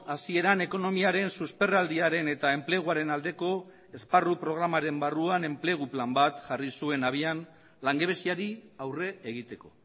hasieran ekonomiaren susperraldiaren eta enpleguaren aldeko esparru programaren barruan enplegu plan bat jarri zuen abian langabeziari aurre egiteko